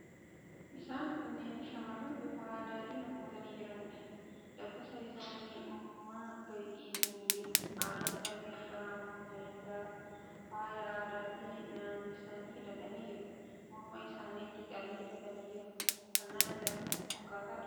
Isaan kunneen shamarran bifa aadaatiin uffatanii jiraniidha. Dabbasaa isaanii uumamaa gadi dhiisanii jiru. Adda isaanii irraan immoo meeshaa faayaa aadaatiin naannessanii hidhatanii jiru. Morma isaaniittis caallee hidhatanii jiru. Uffannaan isaanii wal fakkaataadha.